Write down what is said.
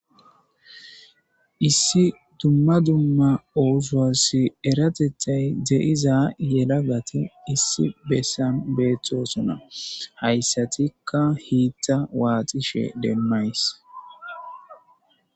issi dumma dumma oosowassi eratethay de7iza yela gate issi bessan beethtosona hayssatikka hiitta waaxishe demmays